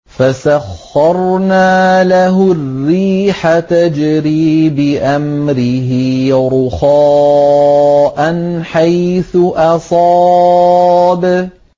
فَسَخَّرْنَا لَهُ الرِّيحَ تَجْرِي بِأَمْرِهِ رُخَاءً حَيْثُ أَصَابَ